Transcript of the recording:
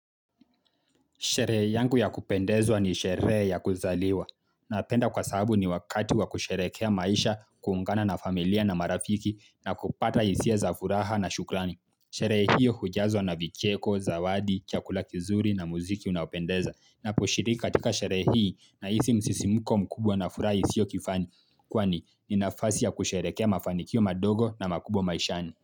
Sherehe yangu ya kupendezwa ni shere ya kuzaliwa. Napenda kwa sabu ni wakati wa kusherekea maisha, kuungana na familia na marafiki na kupata isia za furaha na shukrani. Sherehe hiyo hujazwa na vicheko, zawadi, chakula kizuri na muziki unaopendeza. Naposhiriki katika sherehe hii nahisi msisimuko mkubwa na furaha isio kifani. Kwani, ni nafasi ya kusherekea mafanikio madogo na makubwa maishani.